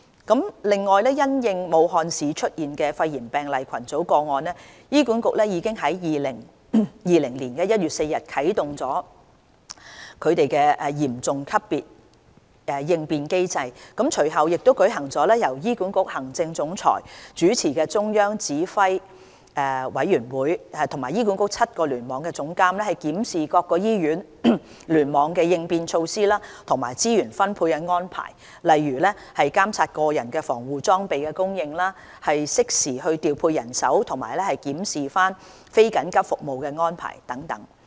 此外，因應武漢市出現的肺炎病例群組個案，醫管局已於2020年1月4日啟動嚴重級別應變機制，隨後亦舉行了由醫管局行政總裁主持的中央指揮委員會，與醫管局7個聯網總監檢視各醫院聯網的應變措施和資源分配安排，例如監察個人防護裝備供應、適時調配人手及檢視非緊急服務安排等。